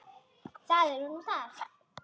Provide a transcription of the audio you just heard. Það er nú það.